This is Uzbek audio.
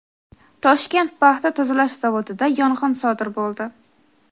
"Toshkent paxta tozalash zavodi"da yong‘in sodir bo‘ldi.